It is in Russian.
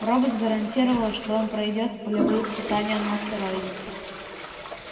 роботс гарантировала что он пройдёт и полевые испытания на астероиде